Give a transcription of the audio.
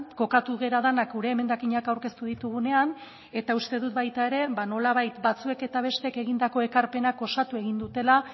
kokatu gara denak gure emendakinak aurkeztu ditugunean eta uste dut baita ere ba nolabait batzuek eta besteek egindako ekarpenak osatu egin dutela